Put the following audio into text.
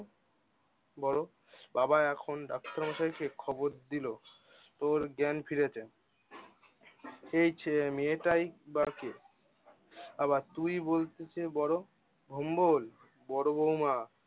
বড় বাবা এখন ডাক্তার মশাইকে খবর দিল। ওর জ্ঞান ফিরেছে এই ছে~ মেয়ে টাই বা কে? আবার তুই বলছিস যে, বড় ভোম্বল? বড় বৌমা